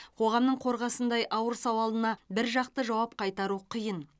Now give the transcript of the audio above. қоғамның қорғасындай ауыр сауалына біржақты жауап қайтару қиын